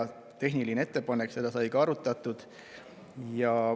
See oli tehniline ettepanek ja seda sai ka arutatud.